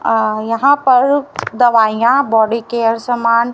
अ यहां पर दवाइयां बॉडीकेयर समान--